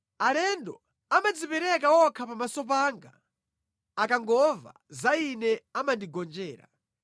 Alendo amadzipereka okha pamaso panga; akangomva za ine amandigonjera.